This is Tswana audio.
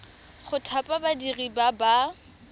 go thapa badiri ba ba